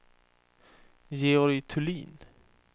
Georg Thulin